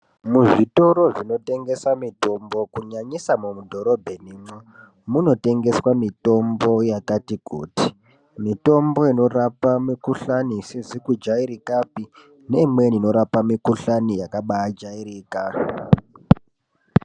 Muzvitoro zvinotengesa mitombo kunyanyisa mumudhorobhenimwo, munotengeswa mitombo yakati kuti. Mitombo inorapa mikhuhlani isizi kujairikapi, neimweni inorapa mikhuhlani yakabaajairika.